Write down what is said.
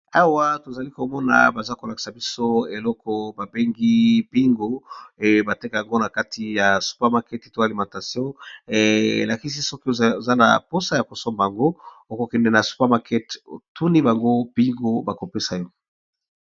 Awa tozali komona baza kolakisa biso eloko babengi pingo batekeango na kati ya super market to alimentation elakisi soki oza na mposa ya kosomba ango okokende na super market tuni bango pingo bakopesa yo.